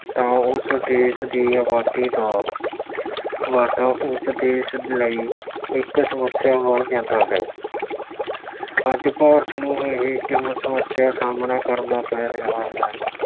ਤਾਂ ਉਸ ਦੇਸ਼ ਦੀ ਆਬਾਦੀ ਦਾ ਵਾਧਾ ਉਸ ਦੇਸ਼ ਲਈ ਇੱਕ ਸਮੱਸਿਆ ਬਣ ਜਾਂਦਾ ਹੈ। ਅੱਜ ਭਾਰਤ ਨੂੰ ਇਹ ਇੱਕ ਸਮੱਸਿਆ ਦਾ ਸਾਹਮਣਾ ਕਰਨਾ ਪੈ ਰਿਹਾ ਹੈ।